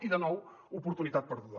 i de nou oportunitat perduda